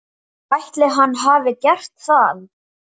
Ætli hann hafi gert það?